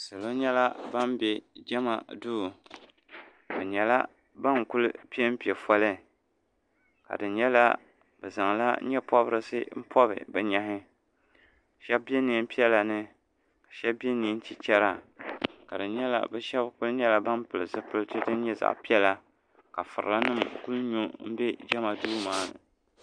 Salo nyɛla ban be jema duu bɛ nyɛla ban kuli piɛmpe foli ka di nyɛla bɛ zaŋla nyɛpobrisi m pobi sheba be niɛn'piɛla ni ka. sheba be niɛn'chichela ni bɛ sheba kuli nyɛla ban pili zipiliti din nyɛ zaɣa piɛla ka firila nima kuli nyo m be jema duu naa ni.